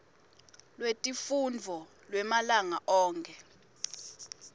lwetifundvo lwemalanga onkhe